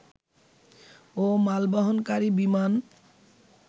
ও মালবহনকারী বিমান